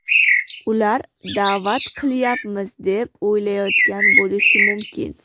Ular da’vat qilyapmiz, deb o‘ylayotgan bo‘lishi mumkin.